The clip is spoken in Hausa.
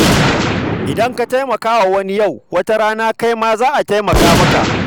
Idan ka taimaka wa wani yau, wata rana kai ma za a taimaka maka.